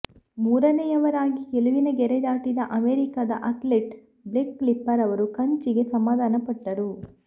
ಮೂರನೆಯವರಾಗಿ ಗೆಲುವಿನ ಗೆರೆ ದಾಟಿದ ಅಮೆರಿಕದ ಅಥ್ಲೀಟ್ ಬ್ಲೇಕ್ ಲೀಪರ್ ಅವರು ಕಂಚಿಗೆ ಸಮಾಧಾನಪಟ್ಟರು